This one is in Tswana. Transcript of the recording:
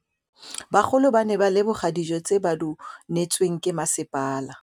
Bagolo ba ne ba leboga dijô tse ba do neêtswe ke masepala.